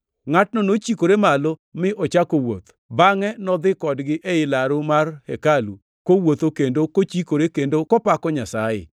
Ngʼatno nochikore malo mi ochako wuoth. Bangʼe nodhi kodgi ei laru mar hekalu, kowuotho kendo kochikore kendo kopako Nyasaye.